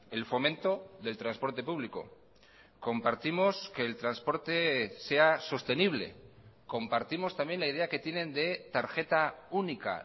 el fomento del transporte público compartimos que el transporte sea sostenible compartimos también la idea que tienen de tarjeta única